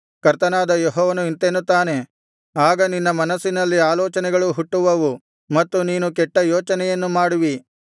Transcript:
ಕರ್ತನಾದ ಯೆಹೋವನು ಇಂತೆನ್ನುತ್ತಾನೆ ಆಗ ನಿನ್ನ ಮನಸ್ಸಿನಲ್ಲಿ ಆಲೋಚನೆಗಳು ಹುಟ್ಟುವವು ಮತ್ತು ನೀನು ಕೆಟ್ಟ ಯೋಚನೆಯನ್ನು ಮಾಡುವಿ